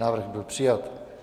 Návrh byl přijat.